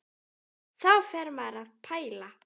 Þá fer maður að pæla.